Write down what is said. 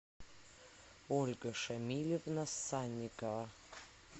ольга шамилевна санникова